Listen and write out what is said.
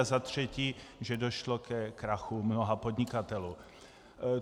A za třetí, že došlo ke krachu mnoha podnikatelů.